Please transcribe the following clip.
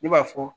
Ne b'a fɔ